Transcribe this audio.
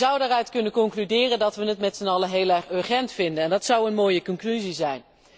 Je zou daaruit kunnen besluiten dat we het met zijn allen heel erg urgent vinden, en dat zou een mooie conclusie zijn.